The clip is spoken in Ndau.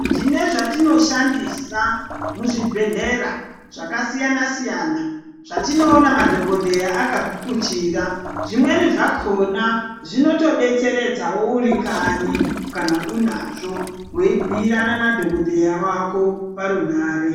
Tine zvatinoshandisa muzvibhedhlera zvakasiyana siyana zvatinoona madhogodheya akagukuchira zvimweni zvakhona zvinotodetseredza uri kanyi kana unazvo weibhiirana nadhokodheya wako parunhare.